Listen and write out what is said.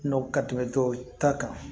Nɔ ka tɛmɛ tɔw ta kan